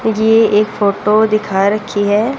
ये एक फोटो दिखा रखी है।